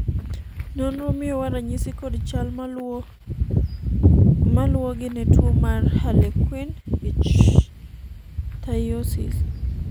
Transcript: nonro miyowa ranyisi kod chal maluwogi ne tuo mar Harlequin ichthyosis